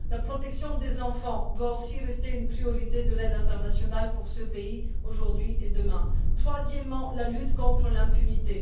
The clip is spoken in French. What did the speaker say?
La protection des enfants doit aussi rester une priorité de l'aide internationale pour ce pays aujourd'hui et demain. Troisièmement, la lutte contre l'impunité.